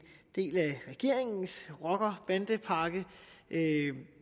del af regeringens rocker og bandepakke